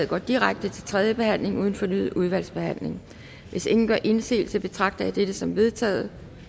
går direkte til tredje behandling uden fornyet udvalgsbehandling hvis ingen gør indsigelse betragter jeg dette som vedtaget